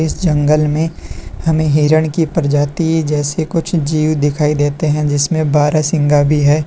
जंगल में हमें हिरण की प्रजाति जैसे कुछ जीव दिखाई देते हैं जिसमें सिंघा भी है।